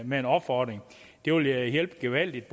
med en opfordring det ville hjælpe gevaldigt